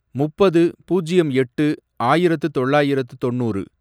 முப்பது, பூஜ்யம் எட்டு, ஆயிரத்து தொள்ளாயிரத்து தொன்னூறு